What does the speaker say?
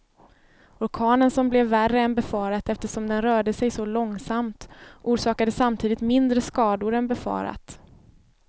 Orkanen som blev värre än befarat eftersom den rörde sig så långsamt, orsakade samtidigt mindre skador än befarat.